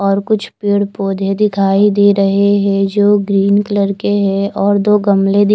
और कुछ पेड़ पोधे दिखाई दे रहे हे जो ग्रीन कलर के हें और दो गमले दिख--